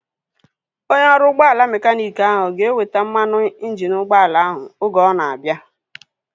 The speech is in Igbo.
Onye ọrụ ụgbọala mekaniiki ahu ga-eweta mmanụ injini ụgbọala ahu oge ọ na-abịa